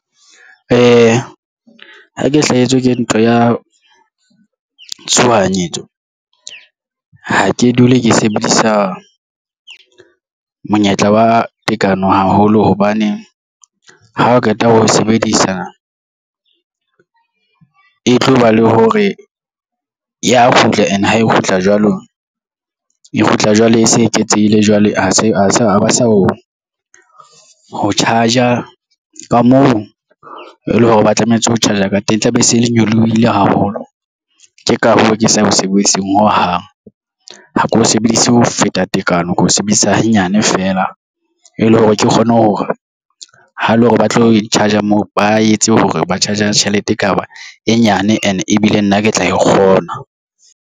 Ee, ha ke hlahetswe ke ntho ya tshohanyetso ha ke dule ke sebedisa monyetla wa tekano haholo hobane ha o qeta ho sebedisana e tloba le hore ya kgutla and ha e kgutla jwalo e kgutla jwale e se eketsehile jwale ha se a se a ba sa o ho charge-a ka moo e leng hore ba tlametse ho charge-a ka teng, e tlabe e se e le nyolohile haholo. Ke ka hoo ke sa ya mosebetsing ho hang. Ha ke o sebedise ho feta tekano ke ho sebedisa nyane feela e le hore ke kgone hore ha e le hore ba tlo charger-a moo ba etse hore ba charger-a tjhelete e ka ba e nyane and ebile nna ke tla e kgona.